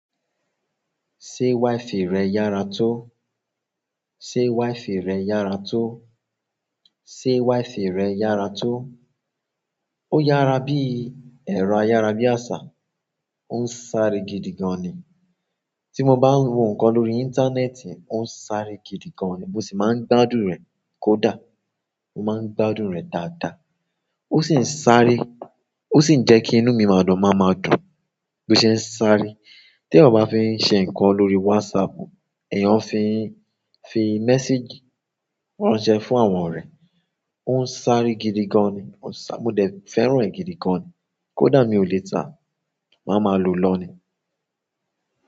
Ṣé WIFI rẹ yára tó? Ṣé wife rẹ yára tó? Ṣé wife rẹ yára tó? Ó yára bí-- ẹ̀rọ ayára bí àsá. Ó ń sáré gidi gan ni. Tí mo bá ń wo nǹkan lórí íńtánẹ́ẹ̀tì, ó ń sáré gidi gan ni. Mo sì máa ń gbádùn rẹ̀ kó dà. Mo máa ń gbádùn rẹ̀ dáadáa. Ó sì ń sáré, ó sì ń jẹ́ kí inú mi máa dùn, má máa dùn. Bí ó ṣe ń sáré. Tí ẹ̀eyan bá fi ń ṣe nǹkan lórí whatsapp, ẹ̀yàn fi ń, fi message ránṣẹ́ fún àwọn ọ̀rẹ́, ó ń sáré gidi gan ni. Ó sá-- mo dẹ̀ fẹ́ràn ẹ̀ gidi gan ni. Kó dà mí o lè tàá, màá ma lò lọ́ nìí.